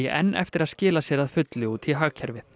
enn eftir að skila sér að fullu út í hagkerfið